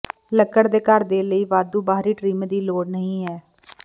ਲੱਕੜ ਦੇ ਘਰ ਦੇ ਲਈ ਵਾਧੂ ਬਾਹਰੀ ਟ੍ਰਿਮ ਦੀ ਲੋੜ ਨਹੀ ਹੈ